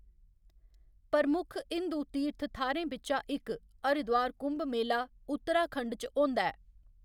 प्रमुख हिंदू तीर्थ थाह्‌रें बिच्चा इक, हरिद्वार कुंभ मेला, उत्तराखंड च होंदा ऐ।